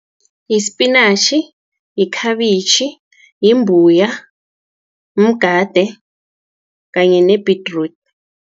Yispinatjhi, yikhabitjhi, yimbuya, mgade kanye nebhedrudi.